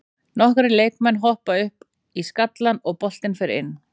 Nokkrir leikmann hoppa upp í skallann og boltinn fer inn.